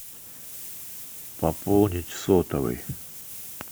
пополнить сотовый